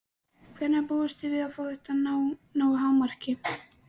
Hvenær búist þið við að þetta nái hámarki?